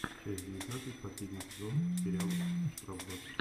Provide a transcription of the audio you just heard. часть девятнадцать последний сезон сериал штрафбат